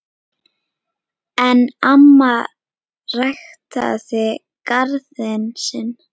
En amma ræktaði garðinn sinn.